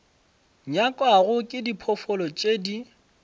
nyakwago ke diphoofolo tše di